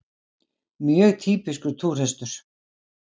Mjög týpískur túrhestur!